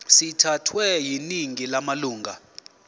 sithathwe yiningi lamalunga